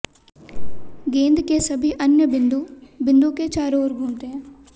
गेंद के सभी अन्य बिंदु बिंदु के चारों ओर घूमते हैं